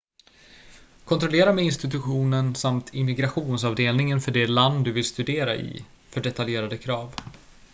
kontrollera med institutionen samt immigrationsavdelningen för det land du vill studera i för detaljerade krav